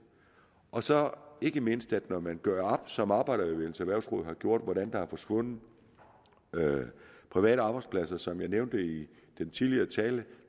og så ikke mindst når man gør op som arbejderbevægelsens erhvervsråd har gjort hvordan der er forsvundet private arbejdspladser som jeg nævnte i den tidligere tale